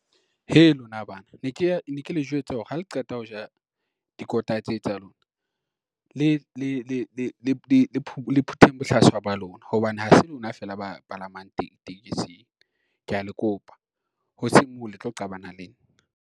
Hei, lona bana ne ke le jwetse hore ha le qeta ho ja dikota tse tsa lona le phuteng bohlaswa ba lona, hobane ha se lona feela ba palamang tekesing, kea le kopa hoseng moo le tlo qabana le nna.